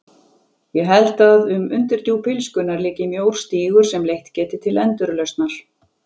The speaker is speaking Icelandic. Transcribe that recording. Ég held að um undirdjúp illskunnar liggi mjór stígur sem leitt geti til endurlausnar.